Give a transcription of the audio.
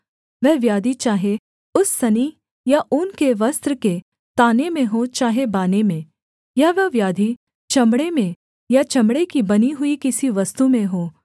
वह व्याधि चाहे उस सनी या ऊन के वस्त्र के ताने में हो चाहे बाने में या वह व्याधि चमड़े में या चमड़े की बनी हुई किसी वस्तु में हो